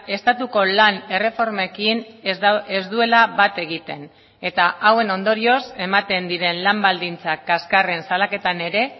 estatuko lan erreformekin ez duela bat egiten eta hauen ondorioz ematen diren lan baldintza kaskarren salaketan ere